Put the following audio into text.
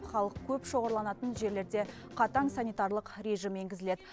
халық көп шоғырланатын жерлерде қатаң санитарлық режим енгізіледі